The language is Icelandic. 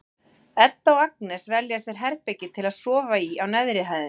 Edda og Agnes velja sér herbergi til að sofa í á neðri hæðinni.